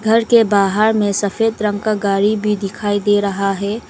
घर के बाहर में सफेद रंग का गाड़ी भी दिखाई दे रहा है।